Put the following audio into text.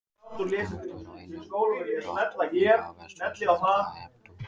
En viltu vera vinur, eða hvaðVERS 2 sem endar á Hep tú!